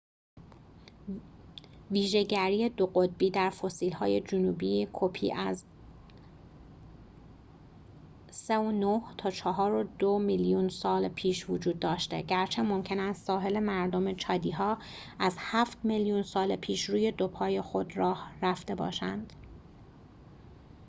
ویژه‌گری دوقطبی در فسیل‌های جنوبی‌کپی از 4.2-3.9 میلیون سال پیش وجود داشته، گرچه ممکن است ساحل‌مردم چادی‌ها از هفت میلیون سال پیش روی دو پای خود راه رفته باشند